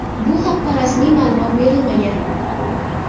Bu haqda rasmiy ma’lumot berilmagan.